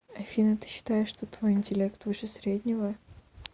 афина ты считаешь что твой интеллект выше среднего